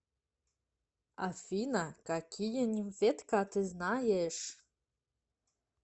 афина какие нимфетка ты знаешь